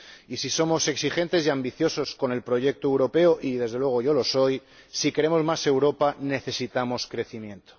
Y, si somos exigentes y ambiciosos con el proyecto europeo —y, desde luego, yo lo soy—, si queremos más Europa, necesitamos crecimiento.